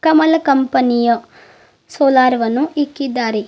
ಕಮಲ company ಯ solar ವನ್ನು ಇಕ್ಕಿದ್ದಾರೆ.